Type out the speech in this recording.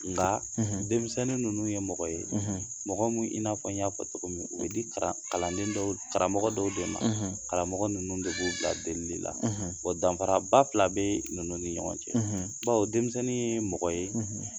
Nka denmisɛnnin ninnu ye mɔgɔ ye mɔgɔ minnu i n'a fɔ n y'a fɔ cogo min u di kalan karamɔgɔ dɔw de ma , karamɔgɔ ninnu de b'u bila deellli la de la, wa danfara ba fila bɛ ninnu ni ɲɔgɔn cɛ baw denmisɛnnin ye mɔgɔ ye,